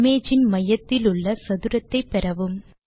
image இன் மையத்திலுள்ள சதுரத்தை பெறவும்